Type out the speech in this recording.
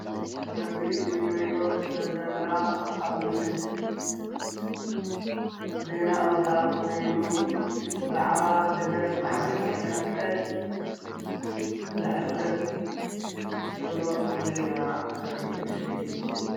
እዚ እንሪኦ ዘለና ኣብ ምስሊ ዜና ኣውታር ኮይኑ ብዛዕባ ደገፍ ማሕበር ቀይሕ መስቀል ዘሕልፍ ዘሎ ዜና ዘርኢ ምስሊ እዩ፡፡